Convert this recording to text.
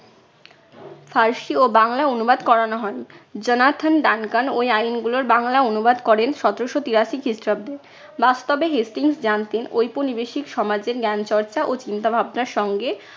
ফার্সি ও বাংলা অনুবাদ করানো হয়। জোনাথান ডানকান ঐ আইনগুলোর বাংলা অনুবাদ করেন সতেরশো তিরাশি খ্রিস্টাব্দে। বাস্তবে হেস্টিংস জানতেন ঔপনিবেশিক সমাজের জ্ঞান চর্চা ও চিন্তাভাবনার সঙ্গে